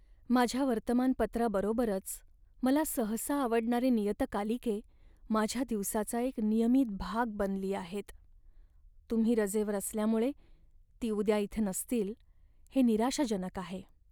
माझ्या वर्तमानपत्राबरोबरच मला सहसा आवडणारी नियतकालिके माझ्या दिवसाचा एक नियमित भाग बनली आहेत. तुम्ही रजेवर असल्यामुळे ती उद्या इथे नसतील हे निराशाजनक आहे.